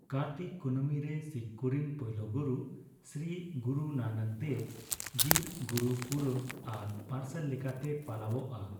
ᱠᱟᱨᱛᱤᱠ ᱠᱩᱱᱟᱹᱢᱤ ᱨᱮ ᱥᱤᱠᱷ ᱠᱚᱨᱮᱱ ᱯᱳᱭᱞᱳ ᱜᱩᱨᱩ ᱥᱨᱤ ᱜᱩᱨᱩ ᱱᱟᱱᱚᱠ ᱫᱮᱵᱽ ᱡᱤᱨ ᱜᱩᱨᱩ ᱯᱩᱨᱚᱵᱽ ᱟᱨ ᱯᱟᱨᱥᱟᱞ ᱞᱮᱠᱟᱛᱮ ᱯᱟᱞᱟᱣᱚᱜᱼᱟ ᱾